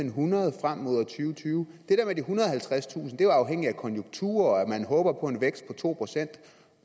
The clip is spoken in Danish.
ethundrede og halvtredstusind er jo afhængigt af konjunkturer og at man håber på en vækst på to procent